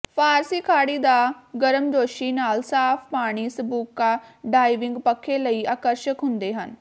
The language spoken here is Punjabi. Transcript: ਫ਼ਾਰਸੀ ਖਾੜੀ ਦਾ ਗਰਮਜੋਸ਼ੀ ਨਾਲ ਸਾਫ ਪਾਣੀ ਸਕੂਬਾ ਡਾਇਵਿੰਗ ਪੱਖੇ ਲਈ ਆਕਰਸ਼ਕ ਹੁੰਦੇ ਹਨ